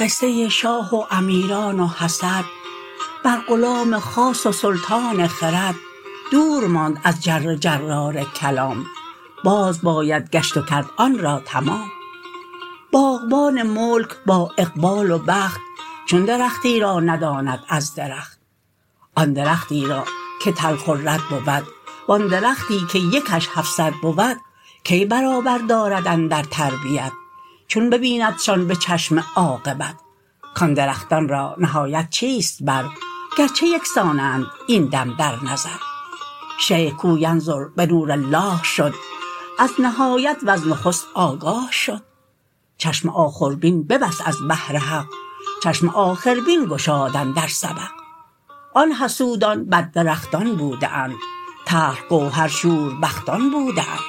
قصه شاه و امیران و حسد بر غلام خاص و سلطان خرد دور ماند از جر جرار کلام باز باید گشت و کرد آن را تمام باغبان ملک با اقبال و بخت چون درختی را نداند از درخت آن درختی را که تلخ و رد بود و آن درختی که یکش هفصد بود کی برابر دارد اندر تربیت چون ببیندشان به چشم عاقبت کان درختان را نهایت چیست بر گرچه یکسانند این دم در نظر شیخ کو ینظر بنور الله شد از نهایت وز نخست آگاه شد چشم آخربین ببست از بهر حق چشم آخربین گشاد اندر سبق آن حسودان بد درختان بوده اند تلخ گوهر شوربختان بوده اند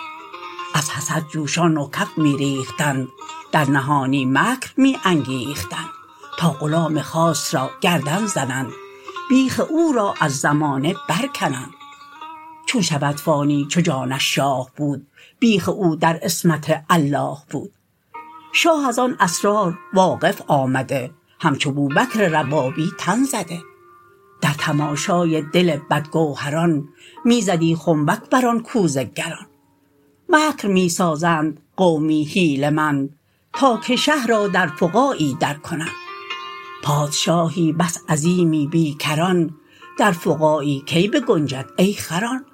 از حسد جوشان و کف می ریختند در نهانی مکر می انگیختند تا غلام خاص را گردن زنند بیخ او را از زمانه بر کنند چون شود فانی چو جانش شاه بود بیخ او در عصمت الله بود شاه از آن اسرار واقف آمده همچو بوبکر ربابی تن زده در تماشای دل بدگوهران می زدی خنبک بر آن کوزه گران مکر می سازند قومی حیله مند تا که شه را در فقاعی در کنند پادشاهی بس عظیمی بی کران در فقاعی کی بگنجد ای خران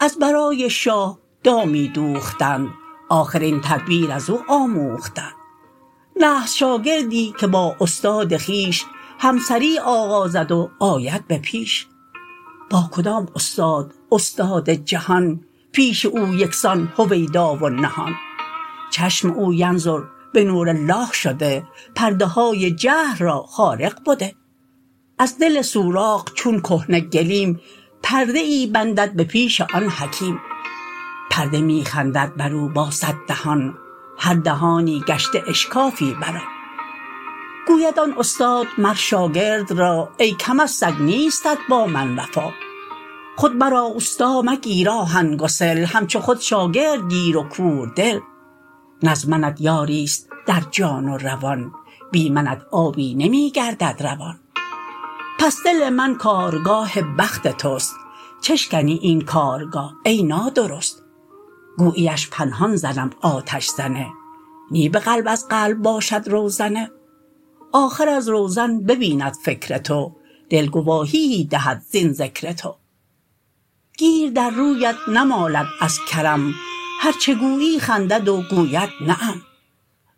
از برای شاه دامی دوختند آخر این تدبیر ازو آموختند نحس شاگردی که با استاد خویش همسری آغازد و آید به پیش با کدام استاد استاد جهان پیش او یکسان هویدا و نهان چشم او ینظر بنور الله شده پرده های جهل را خارق بده از دل سوراخ چون کهنه گلیم پرده ای بندد به پیش آن حکیم پرده می خندد برو با صد دهان هر دهانی گشته اشکافی بر آن گوید آن استاد مر شاگرد را ای کم از سگ نیستت با من وفا خود مرا استا مگیر آهن گسل همچو خود شاگرد گیر و کوردل نه از منت یاریست در جان و روان بی منت آبی نمی گردد روان پس دل من کارگاه بخت تست چه شکنی این کارگاه ای نادرست گوییش پنهان زنم آتش زنه نی به قلب از قلب باشد روزنه آخر از روزن ببیند فکر تو دل گواهیی دهد زین ذکر تو گیر در رویت نمالد از کرم هرچه گویی خندد و گوید نعم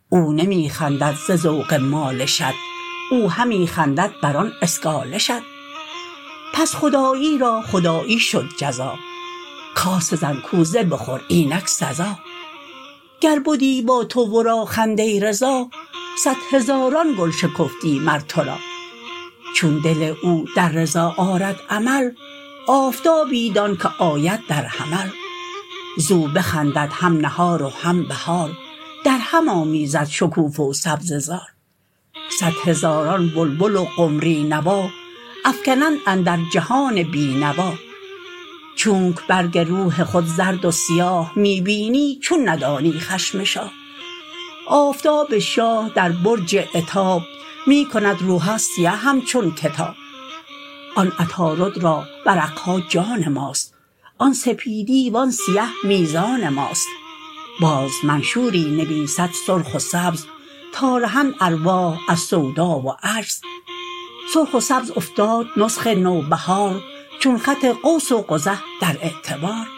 او نمی خندد ز ذوق مالشت او همی خندد بر آن اسگالشت پس خداعی را خداعی شد جزا کاسه زن کوزه بخور اینک سزا گر بدی با تو ورا خنده رضا صد هزاران گل شکفتی مر ترا چون دل او در رضا آرد عمل آفتابی دان که آید در حمل زو بخندد هم نهار و هم بهار در هم آمیزد شکوفه و سبزه زار صد هزاران بلبل و قمری نوا افکنند اندر جهان بی نوا چونک برگ روح خود زرد و سیاه می ببینی چون ندانی خشم شاه آفتاب شاه در برج عتاب می کند روها سیه همچون کتاب آن عطارد را ورقها جان ماست آن سپیدی و آن سیه میزان ماست باز منشوری نویسد سرخ و سبز تا رهند ارواح از سودا و عجز سرخ و سبز افتاد نسخ نوبهار چون خط قوس و قزح در اعتبار